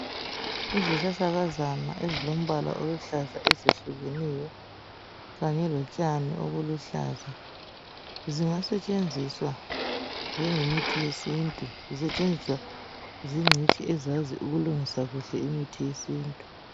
Izihlahlakazana ezilombala oluhlaza ezehlukeneyo kanye lotshani obuluhlaza zingasetshenziswa njengemithi yesintu, zisetshenziswa zincitshi ezazi ukulungisa kuhle imithi yesintu.